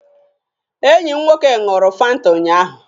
Enyi m nwoke ṅụrụ fanta ụnyaahụ.